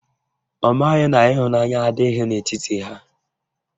Ọ maghị na ịhụnanya adịghị n'etiti ha